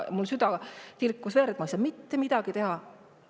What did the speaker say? Mul süda tilkus verd, aga ma ei saanud mitte midagi teha.